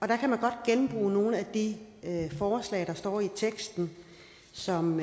der kan man godt genbruge nogle af de forslag der står i teksten som